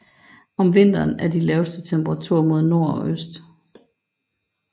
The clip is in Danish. Om vinteren er de laveste temperaturen mod nord og øst